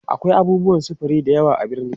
akwai abubuwan safari da yawa a birni